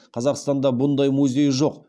қазақстанда бұндай музей жоқ